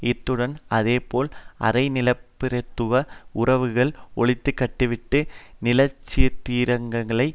இருந்ததுடன் அதேபோல் அரைநிலப்பிரபுத்துவ உறவுகளை ஒழித்துக்கட்டிவிட்டு நிலச்சீர்த்திருத்தங்களை